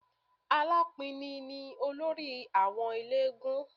Alápinni ni olórí àwọn eléégún